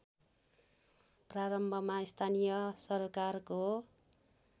प्रारम्भमा स्थानीय सरोकारको